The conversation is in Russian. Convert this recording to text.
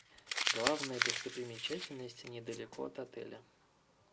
главные достопримечательности недалеко от отеля